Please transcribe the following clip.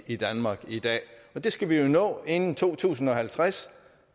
i danmark i dag det skal vi jo nå inden to tusind og halvtreds